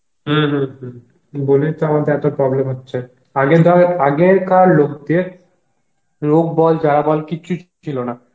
হম হম হম বলেই তো আমাদের এত problem হচ্ছে আগে ধর~ আগে কার লোকদের রোগ বল জালা বল কিচ্ছু ছিল না